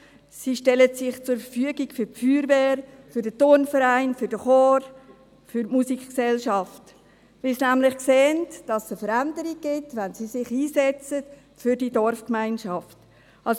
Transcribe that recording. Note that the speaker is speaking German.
Sie stellen sich für die Feuerwehr, den Turnverein, den Chor und für die Musikgesellschaft zur Verfügung, weil sie nämlich sehen, dass es eine Veränderung gibt, wenn sie sich für die Dorfgemeinschaft einsetzen.